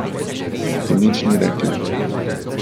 In nič ni rekla.